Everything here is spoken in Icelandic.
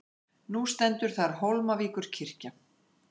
Nú stendur þar Hólmavíkurkirkja.